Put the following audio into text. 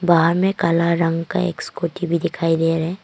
बाहर मे काला रंग का एक स्कूटी भी दिखाई दे रहे--